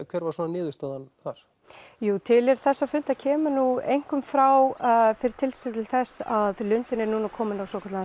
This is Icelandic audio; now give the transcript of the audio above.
hver var niðurstaðan þar tilurð þessa fundar kemur einkum frá fyrir tilstilli þess að að lundinn er kominn á svokallaðan